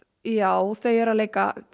já þau eru að leika